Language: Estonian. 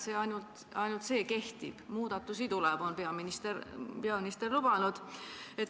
Peaminister on lubanud, et muudatusi tuleb.